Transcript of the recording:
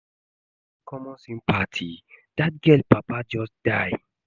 You no get common sympathy? Dat girl papa just die